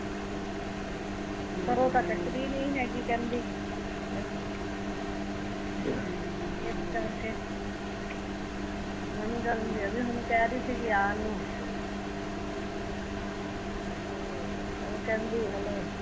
ਪਰ ਓਹ ਤਾਂ ਚੱਕਦੀ ਨੀ ਹੈਗੀ ਕਹਿੰਦੀ ਏਸ ਕਰਕੇ ਹੁਣ ਕਹਿ ਰਹੀ ਸੀਗੀ ਆਉਣ ਨੂ ਓਹ ਕਹਿੰਦੀ ਹਲੇ